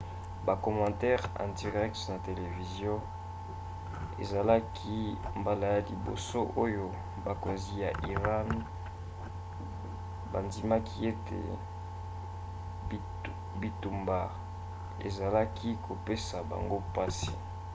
bakomantere en direct na televizio ezalaki mbala ya liboso oyo bakonzi ya iran bandimaki ete bitumbu ezalaka kopesa bango mpasi